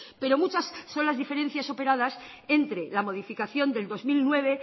pero muchas son las diferencias operadas entre la modificación del dos mil nueve